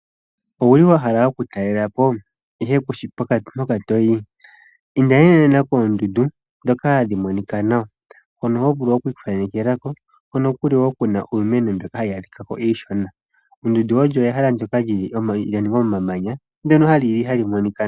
Owuli wahala oku talela po ihe kushi mpoka toyi? Inda nena nena koondundu dhoka hadhi monikwa nawa, hono hovulu okwii thanekelako, hono kuli woo kuna iimeno mbyoka hayi adhika ko iishona. Oondundu olyo ehala ndyoka lyaningwa momanya ndyono hali monikwa nawa.